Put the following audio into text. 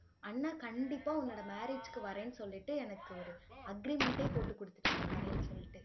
அண்ணா கண்டிப்பா உன்னோட marriage க்கு வரேன்னு சொல்லிட்டு எனக்கு ஒரு agreement ஏ போட்டு கொடுத்துட்டாங்க வரேன்னு சொல்லிட்டு